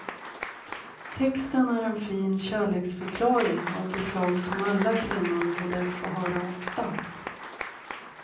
Texten är en fin kärleksförklaring av det slag som alla kvinnor borde få höra ofta.